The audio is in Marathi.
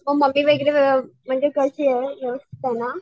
मग मम्मी वगैरे व्य म्हणजे कशीये व्यवस्थिते ना?